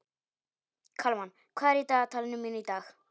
Kalmann, hvað er í dagatalinu mínu í dag?